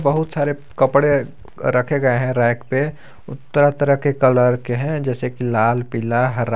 बहुत सारे कपड़े रखे गए हैं रैक पे तरह तरह के कलर के हैं जैसे कि लाल पीला हरा।